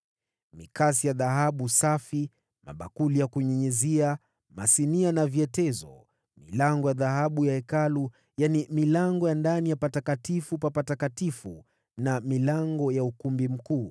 mikasi ya dhahabu safi, mabakuli ya kunyunyizia, masinia na vyetezo; milango ya dhahabu ya Hekalu: yaani milango ya ndani ya Patakatifu pa Patakatifu, na milango ya ukumbi mkuu.